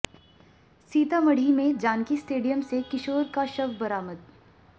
सीतामढ़ी में जानकी स्टेडियम से किशोर का शव बरामद